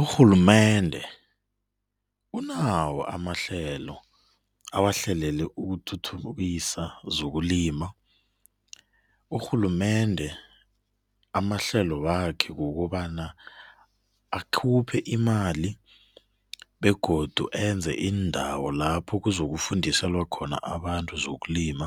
Urhulumende unawo amahlelo awahlelele ukuthuthukisa zokulima. Urhulumende amahlelo wakhe kukobana akhuphe imali begodu enze iindawo lapho kuzokufundiselwa abantu zokulima,